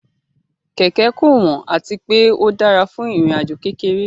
Kẹ̀kẹ́ kò wọ́n àti pé ó dára fún ìrìn àjò kékeré